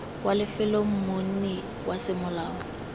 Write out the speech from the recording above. wa lefelo monni wa semolao